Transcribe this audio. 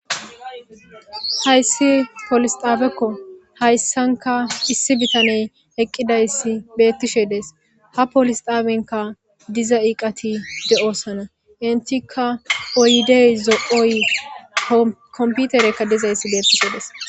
hayssi polise xaabekko hayssanka issi bitaney eqqidayssi beettishe desi ha polisxaabenka diza iiqati de7oosana intikka oydey zo7oy komputerekka dizayssi beettishe Desi.